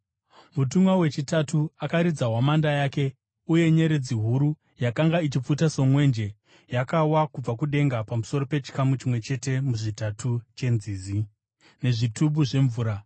Mutumwa wechitatu akaridza hwamanda yake, uye nyeredzi huru, yakanga ichipfuta somwenje, yakawa kubva kudenga pamusoro pechikamu chimwe chete muzvitatu chenzizi nezvitubu zvemvura,